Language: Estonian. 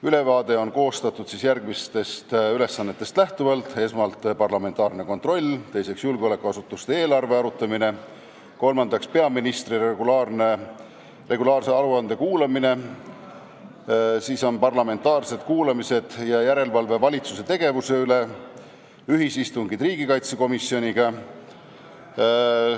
Ülevaade on koostatud järgmistest ülesannetest lähtuvalt: parlamentaarne kontroll, julgeolekuasutuste eelarve arutamine, peaministri regulaarse aruande kuulamine, parlamentaarsed kuulamised, järelevalve valitsuse tegevuse üle, ühisistungid riigikaitsekomisjoniga.